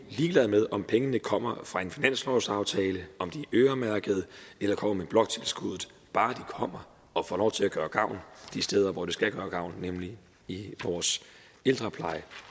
ligeglad med om pengene kommer fra en finanslovsaftale om de er øremærket eller kommer med bloktilskuddet bare de kommer og får lov til at gøre gavn de steder hvor de skal gøre gavn nemlig i vores ældrepleje